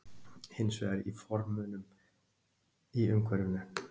Hins vegar í formunum í umhverfinu.